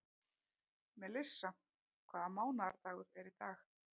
Melissa, hvaða mánaðardagur er í dag?